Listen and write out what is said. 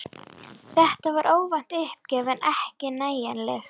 Þetta var óvænt uppgjöf en ekki nægjanleg.